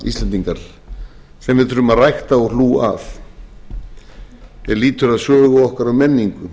íslendingar sem við þurfum að rækta og hlúa að er lýtur að sögu okkar og menningu